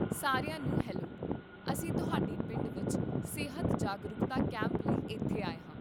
ਸਾਰਿਆਂ ਨੂੰ ਹੈਲੋ, ਅਸੀਂ ਤੁਹਾਡੇ ਪਿੰਡ ਵਿੱਚ ਸਿਹਤ ਜਾਗਰੂਕਤਾ ਕੈਂਪ ਲਈ ਇੱਥੇ ਆਏ ਹਾਂ